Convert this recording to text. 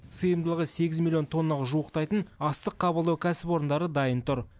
сыйымдылығы сегіз миллион тоннаға жуықтайтын астық қабылдау кәсіпорындары дайын тұр